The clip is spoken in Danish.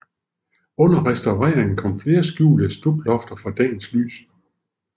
Under restaureringen kom flere skjulte stuklofter for dagens lys